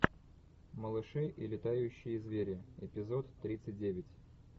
малыши и летающие звери эпизод тридцать девять